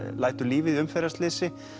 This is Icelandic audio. lætur lífið í umferðarslysi